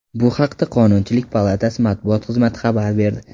Bu haqda Qonunchilik palatasi matbuot xizmati xabar berdi .